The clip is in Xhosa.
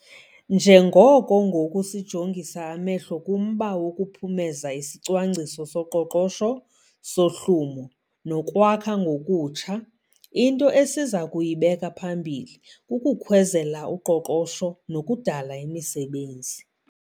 Njengoko ngoku sijongisa amehlo kumba wokuphumeza isiCwangciso soQoqosho soHlumo no Kwakha Ngokutsha, into esiza kuyibeka phambili kukukhwezela uqoqosho nokudala imisebenzi.